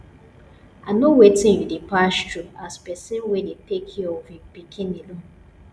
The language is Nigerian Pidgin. i know wetin you dey pass through as person wey dey take care of im pikin alone